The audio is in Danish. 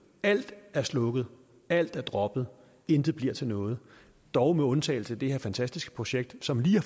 alt er slukket alt er droppet intet bliver til noget dog med undtagelse af det her fantastiske projekt som lige har